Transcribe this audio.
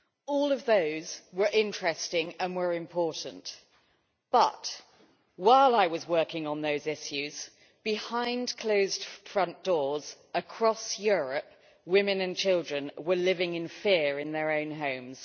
All of those were interesting and important, but while I was working on those issues, behind closed front doors across Europe, women and children were living in fear in their own homes.